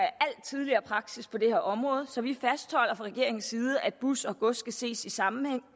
al tidligere praksis på det her område så vi fastholder fra regeringens side at bus og gods skal ses i sammenhæng